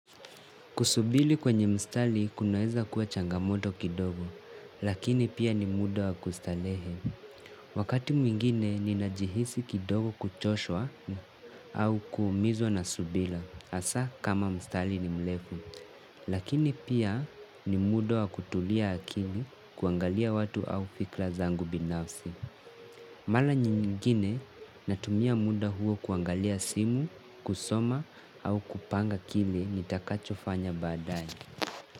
Kusubili kwenye mstali kunaweza kuwa changamoto kidogo, lakini pia ni muda wa kustalehe. Wakati mwingine ninajihisi kidogo kuchoshwa au kuumizwa na subila, asa kama mstali ni mlefu. Lakini pia ni muda wa kutulia akili kuangalia watu au fikla zangu binafsi. Mala nyingine natumia muda huo kuangalia simu, kusoma au kupanga kili nitakacho fanya baadae.